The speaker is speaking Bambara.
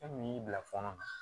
E min y'i bila fɔɔnɔ